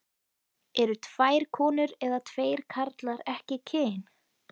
Eru tvær konur eða tveir karlar ekki kyn?